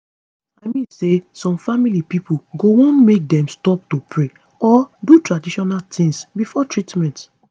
i mean say some family pipo go wan make dem stop to pray or do traditional tings before treatment